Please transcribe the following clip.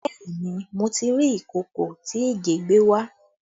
Bẹẹ ni, mo ti rí ìkòkò tí Ìgè gbé wá